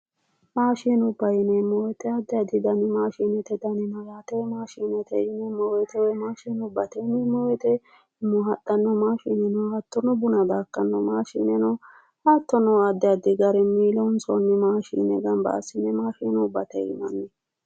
Mashinubba yineemmo woyiite addi addi dani maashinete dani no yaate, maashinete woyi maashinubbate yineemo woyiite umo haxxanno maashine no buna baxxartanno maashine no. hattono addi addi garinni loonsoonni maashine gamba assine maashinubbate yinanni.